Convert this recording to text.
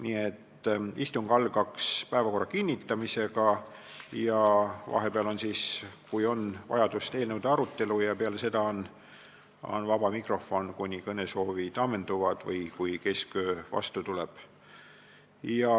Nii et istung algaks päevakorra kinnitamisega ja vahepeal on siis, kui on vajadust, eelnõude arutelu ja peale seda on vaba mikrofon, kuni kõnesoovid ammenduvad või kesköö vastu tuleb.